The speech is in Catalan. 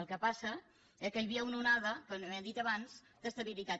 el que passa eh és que hi havia una onada que no ho he dit abans d’estabilitat